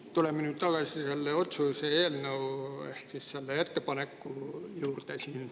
Tuleme nüüd tagasi selle otsuse eelnõu ehk selle ettepaneku juurde.